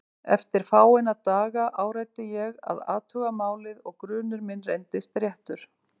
Eftir fáeina daga áræddi ég að athuga málið og grunur minn reyndist réttur.